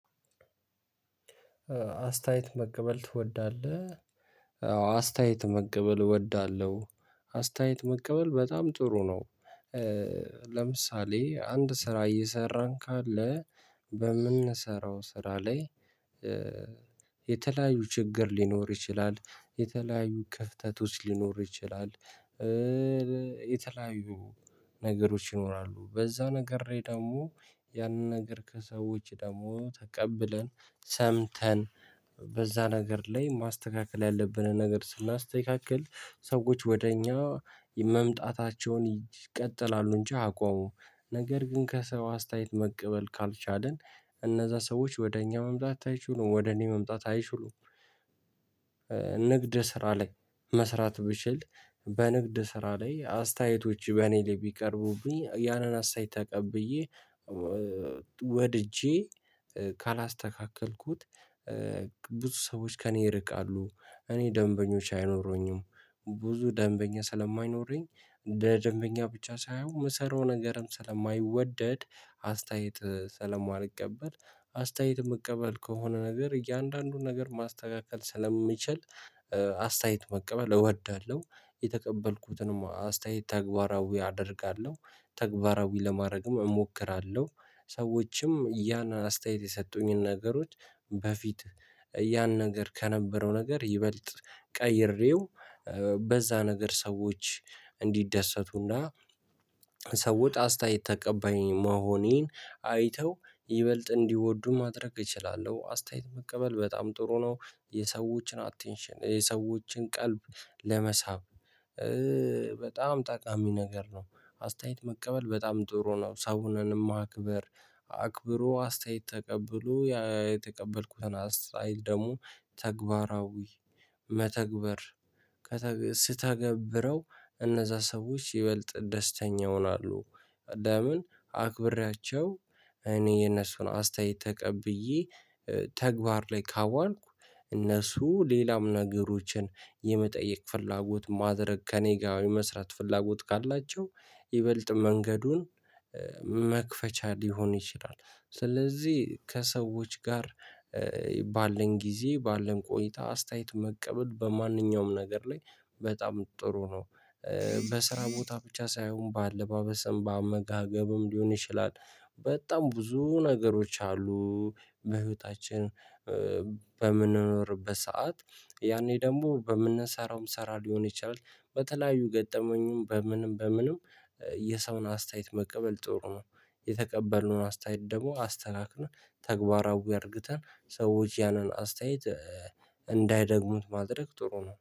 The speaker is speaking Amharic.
አስተያየት መቀበል ትወዳለህ? አዎ አስተያየት መቀበል እወዳለሁ። አስተያየት መቀበል በጣም ጥሩ ነው። ለምሳሌ አንድ ስራ እየሰራን ካለ በምንሰራው ስራ ላይ የተለያዩ ችግር ሊኖር ይችላል። የተለያዩ ክፍተቶች ሊኖር ይችላል። የተለያዩ ነገሮች ይኖራሉ። በዛ ነገር ላይ ደግሞ ያንን ነገር ከሰዎች ደግሞ ተቀብለን ሰምተን በዛ ነገር ላይ ማስተካከል ያለብንን ነገር ስናስተካክል ሰዎች ወደ እኛ መምጣታቸውን ይቀጥላሉ እንጂ አያቆሙም። ነገር ግን ከሰው አስተያየት መቀበል ካልቻልን እነዛ ሰዎች ወደ እኛ መምጣት አይችሉም። ወደ እኔ መምጣት አይችሉም ንግድ ስራ ላይ መስራት ብችል በንግድ ስራ ላይ አስተያየቶች በእኔ ላይ ቢቀርቡብኝ ያንን አስተያየት ተቀብዬ ወድጄ ካላስተካከልኩት ብዙ ሰዎች ከእኔ ይርቃሉ። እኔ ደንበኞች አይኖሩኝም። ብዙ ደንበኛ ስለማይኖረኝ እንደ ደንበኛ ብቻ ሳይሆን የምሰራው ነገርም ስለማይወደድ አስተያየት ስለማልቀበል አስተያየት መቀበል ከሆነ ነገር እያንዳንዱን ነገር ማስተካከል ስለምንችል አስተያየት መቀበል እወዳለሁ። የተቀበልኩትንም አስተያየት ተግባራዊ አደርጋለሁ። ተግባራዊ ለማድረግም እሞክራለሁ። ሰዎችም ያን አስተያየት የሰጡኝን ነገሮች በፊት ያን ነገር ከነበረው ነገር ይበልጥ ቀይሬው በዛ ነገር ሰዎች እንዲደሰቱና ሰዎች አስተያየት ተቀባይ መሆኔን አይተው ይበልጥ እንዲወዱ ማድረግ እችላለሁ። አስተያየት መቀበል በጣም ጥሩ ነው። የሰዎችን አቴንሽን፣ የሰዎችን ቀልብ ለመሳብ በጣም ጠቃሚ ነገር ነው። አስተያየት መቀበል በጣም ጥሩ ነው። ሰውንም ማክበር አክብሮ አስተያየት ተቀብሎ የተቀበልኩትን አስተያየት ደግሞ ተግባራዊ መተግበር ስተገብረው እነዛ ሰዎች ይበልጥ ደስተኛ ይሆናሉ። ለምን አክብሬያቸው እኔ የነሱን አስተያየት ተቀብዬ ተግባር ላይ ካዋልኩ እነሱ ሌላም ነገሮችን የመጠየቅ ፍላጎት ማድረግ ከእኔ ጋር የመስራት ፍላጎት ካላቸው ይበልጥ መንገዱን መክፈቻ ሊሆን ይችላል። ስለዚህ ከሰዎች ጋር ባለን ጊዜ ባለን ቆይታ አስተያየት መቀበል በማንኛውም ነገር ላይ በጣም ጥሩ ነው። በስራ ቦታ ብቻ ሳይሆን በአለባበስም፣ በአመጋገብም ሊሆን ይችላል። በጣም ብዙ ነገሮች አሉ። በህይወታችን በምንኖርበት ሰዓት ያኔ ደግሞ በምንሰራውም ሰራ ሊሆን ይችላል። በተለያዩ ገጠመኝም በምንም በምንም የሰውን አስተያየት መቀበል ጥሩ ነው። የተቀበልነውን አስተያየት ደግሞ አስተካክለን፣ ተግባራዊ አድርግተን ሰዎች ያንን አስተያየት እንዳይደግሙት ማድረግ ጥሩ ነው።